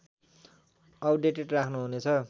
updated राख्नुहुनेछ